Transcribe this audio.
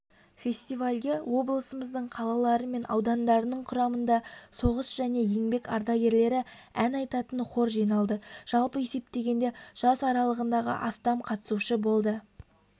фестивальге облысымыздың қалалары мен аудандарынан құрамында соғыс және еңбек ардагерлері ән айтатын хор жиналды жалпы есептегенде жас аралығындағы астам қатысушы болды